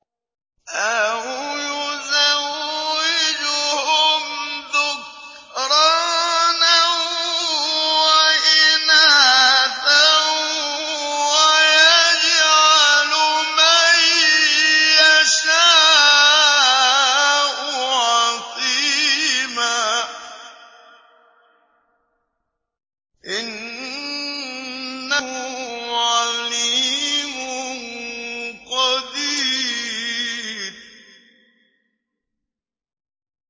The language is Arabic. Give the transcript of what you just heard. أَوْ يُزَوِّجُهُمْ ذُكْرَانًا وَإِنَاثًا ۖ وَيَجْعَلُ مَن يَشَاءُ عَقِيمًا ۚ إِنَّهُ عَلِيمٌ قَدِيرٌ